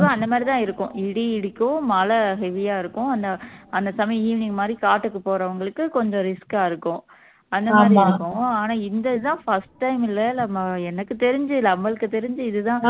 அந்த மாதிரிதான் இருக்கும் இடி இடிக்கும் மழை heavy யா இருக்கும் அந்த அந்த சமயம் evening மாதிரி காட்டுக்கு போறவங்களுக்கு கொஞ்சம் risk ஆ இருக்கும் அந்த மாதிரிதான் இருக்கும் ஆனா இந்த இதுதான் first time ல எனக்கு தெரிஞ்சு நம்மளுக்கு தெரிஞ்சு